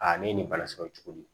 Aa ne ni balasɔrɔ cogo di